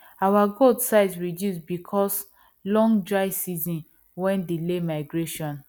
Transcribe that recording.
our goat size reduce because long dry season wen delay migration